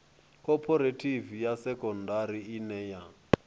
khophorethivi ya sekondari ine ya